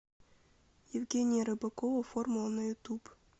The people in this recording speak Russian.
евгения рыбакова формула на ютуб